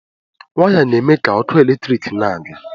Waya na eme ga ọkụ eletrik na aga.